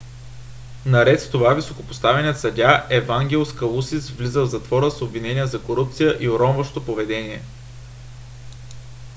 наред с това високопоставеният съдия евангелос калусис влиза в затвора с обвинения за корупция и уронващо поведение